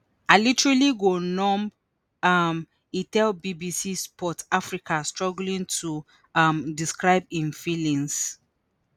i literally go numb" um e tell bbc sport africa struggling to um describe im feelings.